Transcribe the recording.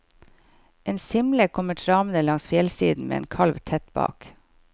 En simle kommer travende langs fjellsiden med en kalv tett bak.